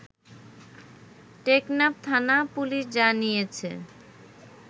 টেকনাফ থানা পুলিশ জানিয়েছে